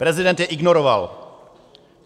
Prezident je ignoroval.